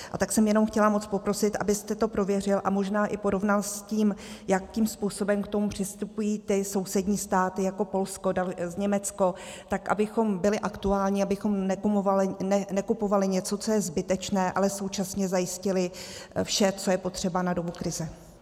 A tak jsem jenom chtěla moc poprosit, abyste to prověřil a možná i porovnal s tím, jakým způsobem k tomu přistupují ty sousední státy jako Polsko, Německo, tak abychom byli aktuální, abychom nekupovali něco, co je zbytečné, ale současně zajistili vše, co je potřeba na dobu krize.